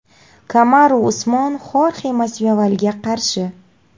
Kamaru Usmon Xorxe Masvidalga qarshi.